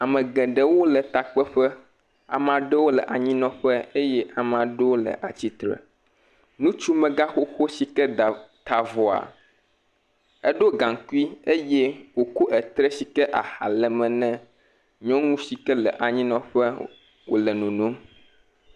Ame geɖewo le takpeƒe. ame aɖewo le anyinɔƒe eye ame aɖewo le atsitre. Ŋutsumegãxoxo yike ta avɔ, eɖo gaŋkui eye wokɔ etre si ke aha le eme na nyɔnu si ke le anyinɔƒe wole nonom.